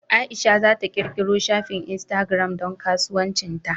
Aisha za ta ƙirƙiro shafin Instagram don kasuwancin ta.